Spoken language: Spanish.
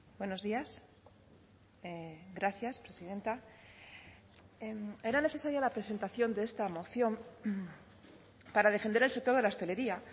buenos días gracias presidenta era necesaria la presentación de esta moción para defender el sector de la hostelería